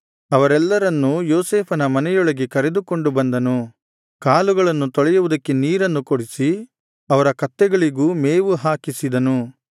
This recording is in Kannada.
ಅವರೆಲ್ಲರನ್ನೂ ಯೋಸೇಫನ ಮನೆಯೊಳಗೆ ಕರೆದುಕೊಂಡು ಬಂದನು ಕಾಲುಗಳನ್ನು ತೊಳೆಯುವುದಕ್ಕೆ ನೀರನ್ನು ಕೊಡಿಸಿ ಅವರ ಕತ್ತೆಗಳಿಗೂ ಮೇವು ಹಾಕಿಸಿದನು